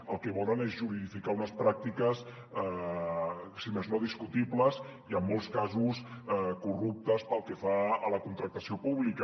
el que volen és juridificar unes pràctiques si més no discutibles i en molts casos corruptes pel que fa a la contractació pública